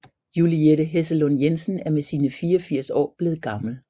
Juliette Hessellund Jensen er med sine 84 år blevet gammel